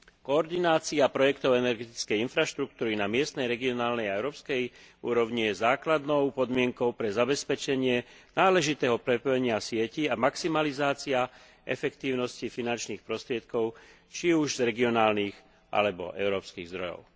Koordinácia projektov energetickej infraštruktúry na miestnej, regionálnej a európskej úrovni je základnou podmienkou na zabezpečenie náležitého prepojenia sietí a maximalizáciu efektívnosti finančných prostriedkov, či už z regionálnych, alebo európskych zdrojov.